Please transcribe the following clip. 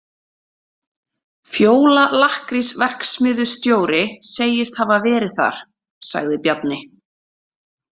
Fjóla lakkrísverksmiðjustóri segist hafa verið þar, sagði Bjarni.